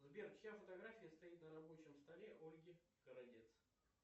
сбер чья фотография стоит на рабочем столе ольги городец